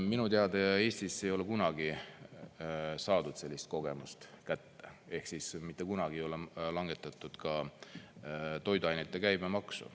Minu teada Eestis ei ole kunagi saadud sellist kogemust kätte, ehk siis mitte kunagi ei ole langetatud toiduainete käibemaksu.